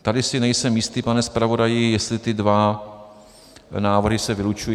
- Tady si nejsem jistý, pane zpravodaji, jestli ty dva návrhy se vylučují.